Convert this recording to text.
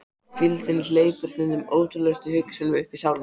Hvíldin hleypir stundum ótrúlegustu hugsunum uppí sálina.